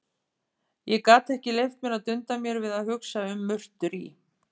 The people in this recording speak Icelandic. Ég gat ekki leyft mér að dunda mér við að hugsa um murtur í